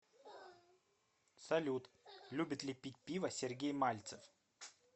салют любит ли пить пиво сергей мальцев